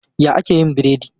Ya ake yin biredi?